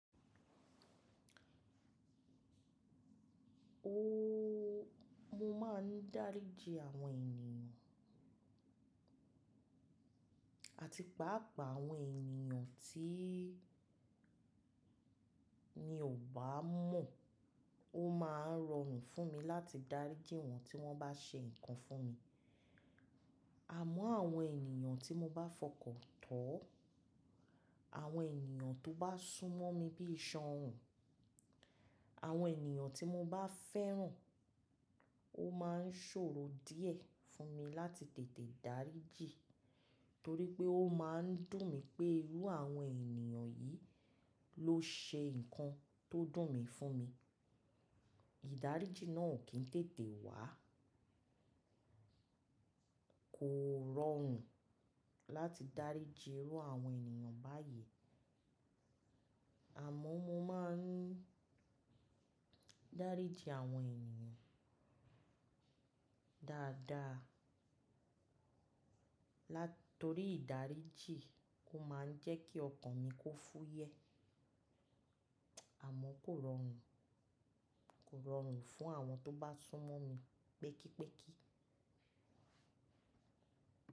Ooo, mo máa ń dáríji àwọn ènìyàn àti pàápàá àwọn ènìyàn tí mi ò bá mọ̀. Ó máa ń rọrùn fún mi láti dáríji wọ́n tí wọ́n bá ṣe nǹkan fún mi. Àmọ́ àwọn ènìyàn tí mo bá fọkàn tán, àwọn ènìyàn tó bá súnmọ́ mi bí iṣan òún, àwọn ènìyàn tí mo bá fẹ́ràn, ó máa ń ṣòro díẹ̀ fún mi láti tètè dáríji torí pé ó máa ń dùn mí pé irú àwọn ènìyàn yìí ló ṣe nǹkan tó dùn mi fún mi. Ìdáríji náà ò kín tètè wà. Kò rọrùn láti dáríji irú àwọn ènìyàn báyìí àmọ́ mo máa ń dáríji àwọn ènìyàn dáadáa tori ìdáríji kó máa ń jẹ́ kí ọkàn mi kó fúyẹ́ àmọ́ kò rọrùn, kò rọrùn fún àwọn tó bá súnmọ́ mi pẹ́kípékí.